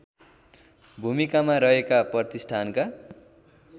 भूमिकामा रहेका प्रतिष्ठानका